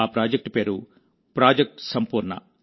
ఆ ప్రాజెక్టు పేరు ప్రాజెక్ట్ సంపూర్ణ